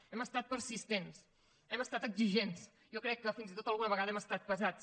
hem estat persistents hem estat exigents jo crec que fins i tot alguna vegada hem estat pesats